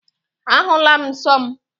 Ahụla m nsọ m